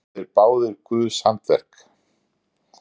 Þó eru þeir báðir guðs handaverk.